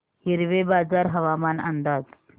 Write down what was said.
हिवरेबाजार हवामान अंदाज